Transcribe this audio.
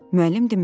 Müəllim dinmədi.